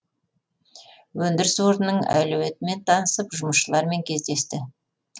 өндіріс орнының әлеуетімен танысып жұмысшылармен кездесті